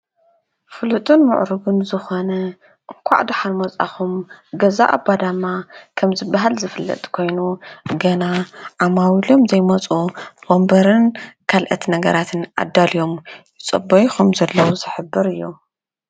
ፍሉጥን ምዕሩጉን ዝኾነ እንኳዕ ደሓን መፃኹም ገዛ ኣባዳማ ከም ዝብሃል ዝፍለጥ ኮይኑ ገና ዓማዊሎም ዘይመፁ ወንበርን ካልኦት ነገራትን ኣዳልዮም ይፅበዩ ከምዘለዉ ዝሕብር እዩ።